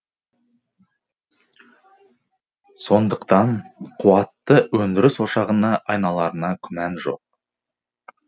сондықтан қуатты өндіріс ошағына айналарына күмән жоқ